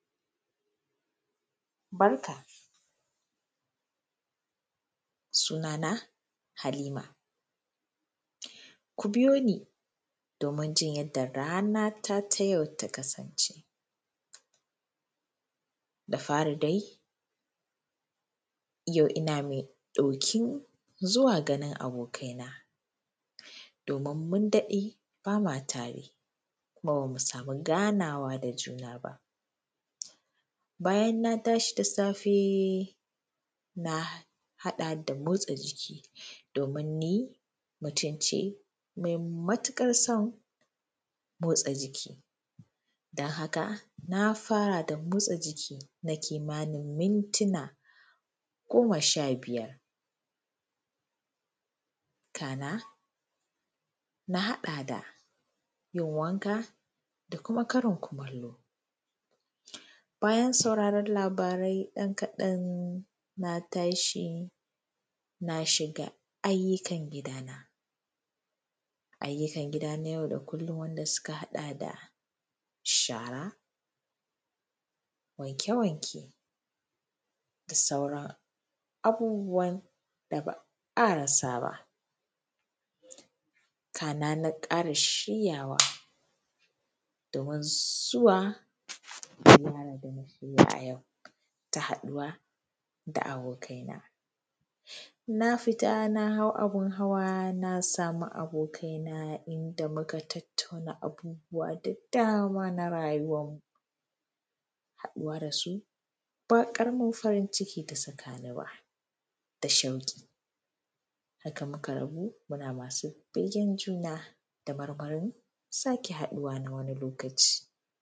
Barka. Sunana Halima. Ku biyo ni domi jin yadda ranata ta yau ta kasance. Da fari dai, yau ina mai ɗokin zuwa ganin abokana domin mun daɗe ba ma tare kuma ba mu samu ganawa da juna ba. Bayan na tashi da safe, na haɗa da motsa jiki domin ni mutum ce mai matuƙar son motsa jiki, don haka na fara da motsa jiki na kimanin mintuna goma sha biyar, kana na haɗa da yin wanka da kuma karin kumallo. Bayan sauraren labarai ɗan kaɗan, na tashi na shiga ayyukan gidana. Ayyukan gida na yau da kullum wanda suka haɗa da shara, wanke-wanke, da sauran abubuwan da ba a rasa ba, kana na ƙara shiryawa domin zuwa na fara ganin meye a yau ta haɗuwa da abokaina. Na fita na hau abin hawa na samu abokaina inda muka tattauna abubuwa da dama na rayuwarmu. Haɗuwa da su ba ƙaramin farin ciki ta saka ni ba, da shauƙi. Haka muka rabu muna masu begen juna da marmarin sake haɗuwa na wani lokaci.